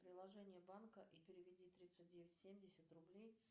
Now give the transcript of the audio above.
приложение банка и переведи тридцать девять семьдесят рублей